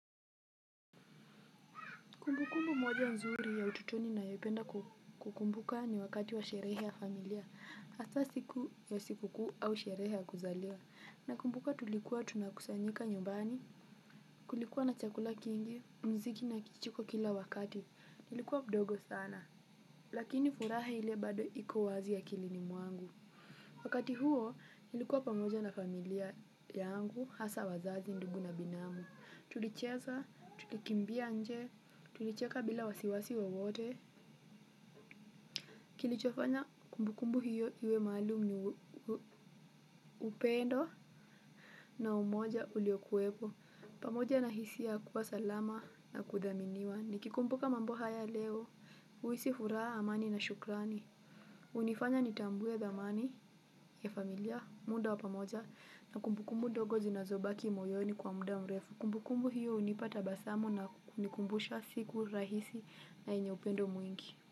Kumbukumbu moja nzuri ya ututoni nina yopenda kukumbuka ni wakati wa sherehe ya familia. Hasa siku ya shikuku au sherehe ya kuzaliwa. Na kumbuka tulikuwa tunakusanyika nyumbani, kulikuwa na chakula kingi, mziki na kicheko kila wakati. Nilikuwa mdogo sana. Lakini furaha ile bado iko wazi akilini mwangu. Wakati huo, iilikuwa pamoja na familia yangu, hasa wazazi ndugu na binamu. Tulicheza, tukikimbia nje, tulicheka bila wasiwasi wowote. Kilichofanya kumbu kumbu hiyo iwe maalum ni upendo. Na umoja uliokuwepo, pamoja na hisia kuwa salama na kudhaminiwa. Nikikumbuka mambo haya leo, huhisi fuuraha amani na shukrani hunifanya nitambue dhamani ya familia, muda wa pamoja. Na kumbu kumbu ndogo zinazobaki moyoni kwa muda mrefu kumbu kumbu hiyo hunipa tabasamu na kunikumbusha siku rahisi na yenye upendo mwingi.